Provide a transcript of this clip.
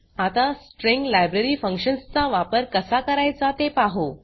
आता string library functions चा वापर कसा करायचा ते पाहु